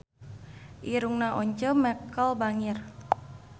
Irungna Once Mekel bangir